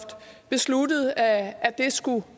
besluttede at at det skulle